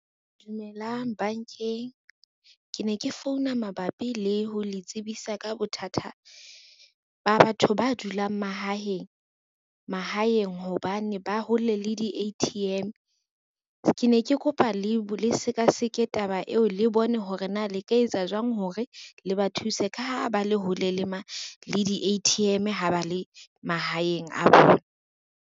Dumelang bank-eng. Ke ne ke founa mabapi le ho le tsebisa ka bothata ba batho ba dulang mahaheng. Mahaheng hobane ba hole le di-A_T_M. Ke ne ke kopa le seka seke taba eo, le bone hore na le ka etsa jwang hore le ba thuse ka ha ba le hole le le di-A_T_M-e ha ba le mahaeng a bona.